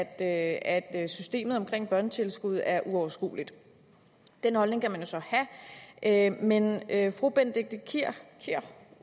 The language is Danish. at at systemet omkring børnetilskud er uoverskueligt den holdning kan man jo så have men fru benedikte kiær